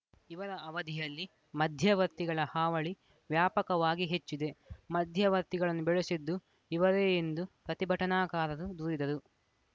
ಇವರ ಅವಧಿಯಲ್ಲಿ ಮಧ್ಯವರ್ತಿಗಳ ಹಾವಳಿ ವ್ಯಾಪಕವಾಗಿ ಹೆಚ್ಚಿದೆ ಮಧ್ಯವರ್ತಿಗಳನ್ನು ಬೆಳೆಸಿದ್ದು ಇವರೇ ಎಂದು ಪ್ರತಿಭಟನಾಕಾರರು ದೂರಿದರು